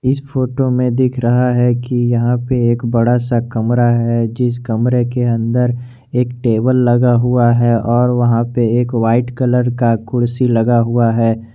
इस फोटो में दिख रहा है कि यहां पे एक बड़ा सा कमरा है जिस कमरे के अंदर एक टेबल लगा हुआ है और वहां पे एक वाइट कलर का कुर्सी लगा हुआ है।